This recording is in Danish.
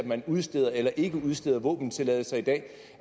man udsteder eller ikke udsteder våbentilladelser i dag